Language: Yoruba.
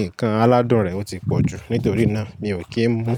ǹkan aládùn rẹ̀ o ti pọ̀ jù, nítorí náà mi ò kí ń mú.